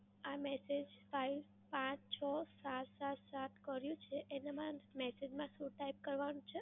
આ message five પાંચ છો સાત સાત સાત કર્યું છે એનામાં message માં શું type કરવાનું છે?